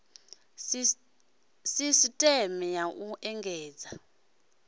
sisteme ya u endedza i